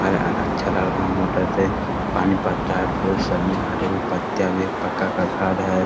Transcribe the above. और अच्छा लड़का मोटर से पानी भरता है । फूल सब मे हरे हरे पत्ता भी है एक पका का घर भी है ।